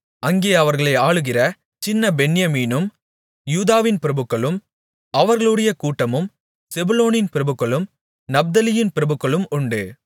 அங்கே அவர்களை ஆளுகிற சின்ன பென்யமீனும் யூதாவின் பிரபுக்களும் அவர்களுடைய கூட்டமும் செபுலோனின் பிரபுக்களும் நப்தலியின் பிரபுக்களும் உண்டு